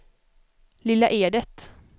Lilla Edet